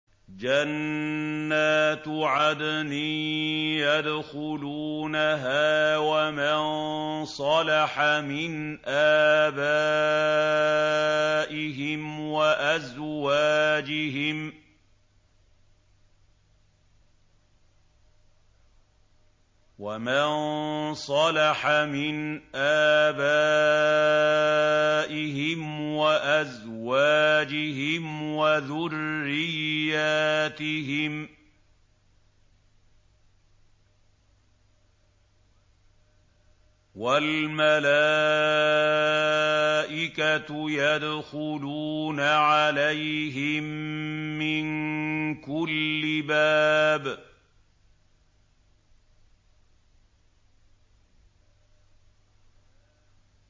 جَنَّاتُ عَدْنٍ يَدْخُلُونَهَا وَمَن صَلَحَ مِنْ آبَائِهِمْ وَأَزْوَاجِهِمْ وَذُرِّيَّاتِهِمْ ۖ وَالْمَلَائِكَةُ يَدْخُلُونَ عَلَيْهِم مِّن كُلِّ بَابٍ